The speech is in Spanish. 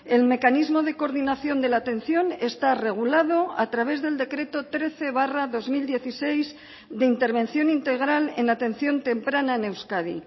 el mecanismo de coordinación de la atención está regulado a través del decreto trece barra dos mil dieciséis de intervención integral en atención temprana en euskadi